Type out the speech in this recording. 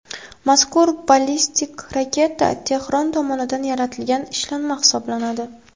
Mazkur ballistik raketa Tehron tomonidan yaratilgan ishlanma hisoblanadi.